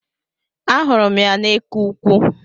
Ahụrụ m ya n'eke ukwu